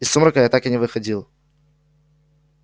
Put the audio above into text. из сумрака я так и не выходил